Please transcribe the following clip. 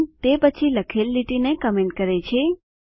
sign તે પછી લખેલ લીટીને કમેન્ટ કરે છે